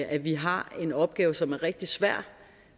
at vi har en opgave som er rigtig svær